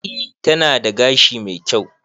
E, tana da gashi mai kyau.